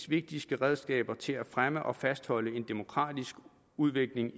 vigtigste redskaber til at fremme og fastholde en demokratisk udvikling